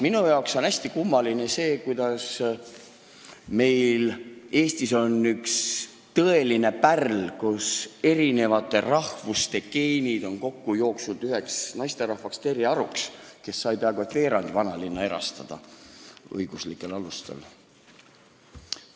Minu jaoks on hästi kummaline näiteks see, kuidas Eestis sai üks tõeline pärl, Terje Aru, kelles on erinevate rahvaste geenid kokku jooksnud üheks naisterahvaks, peaaegu et veerandi vanalinna erastada õiguslikel alustel.